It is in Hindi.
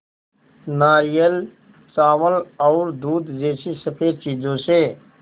नारियल चावल और दूध जैसी स़फेद चीज़ों से